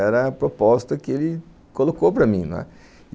Era a proposta que ele colocou para mim, não é?